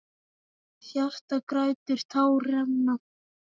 Hjartað grætur, tár renna.